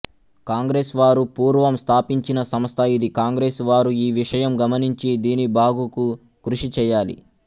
కాంగ్రెసు వారు పూర్వం స్థాపించిన సంస్థ ఇది కాంగ్రెసు వారు ఈ విషయం గమనించి దీని బాగుకు కృషి చేయాలి